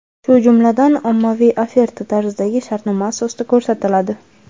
shu jumladan ommaviy oferta tarzidagi shartnoma asosida ko‘rsatiladi.